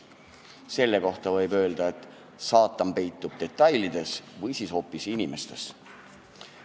Selle peale võib öelda, et saatan peitub detailides või siis hoopis inimestes.